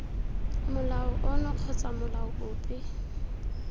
molao ono kgotsa molao ope